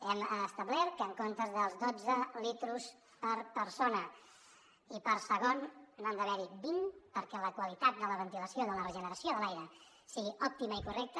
hem establert que en comptes dels dotze litres per persona i per segon n’hi han d’haver vint perquè la qualitat de la ventilació i de la regeneració de l’aire sigui òptima i correcta